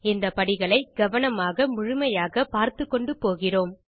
இந்த படிகளை கவனமாக முழுமையாக பார்த்துக்கொண்டு போகிறோம்